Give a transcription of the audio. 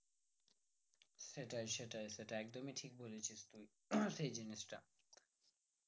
সেটাই সেটাই সেটাই একদমই ঠিক বলেছিস তুই সেই জিনিসটা